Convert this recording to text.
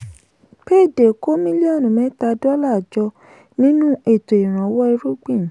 payday kó mílíọ̀nù mẹ́ta dọ́là jọ nínú ètò ìrànwọ́ irúgbìn.